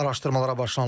Araşdırmalara başlanılıb.